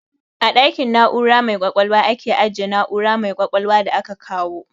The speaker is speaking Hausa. A ɗakin na'ura mai ƙwaƙwalwa aka ajiye na'ura mai ƙwaƙwalwa da aka kawo.